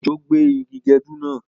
Òjò gbé igi gẹdú náà